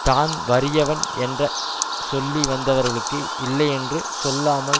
தான் வறியவன் என்ற சொல்லி வந்தவர்களுக்கு இல்லையென்று சொல்லாமல்